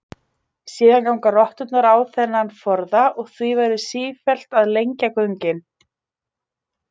Síðan ganga rotturnar á þennan forða og því verður sífellt að lengja göngin.